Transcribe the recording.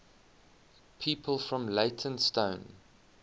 people from leytonstone